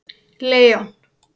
Leon